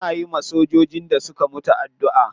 Muna yiwa sojojin da suka mutu addu'a.